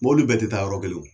Mɔbli bɛɛ tɛ taa yɔrɔ kelen wo.